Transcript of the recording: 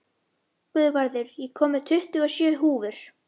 Guðvarður, ég kom með tuttugu og sjö húfur!